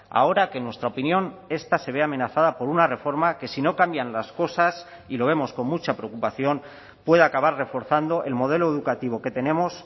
ahora que en nuestra opinión esta se ve amenazada por una reforma que si no cambian las cosas y lo vemos con mucha preocupación puede acabar reforzando el modelo educativo que tenemos